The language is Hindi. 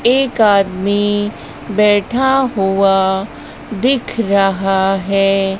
एक आदमी बैठा हुआ दिख रहा है।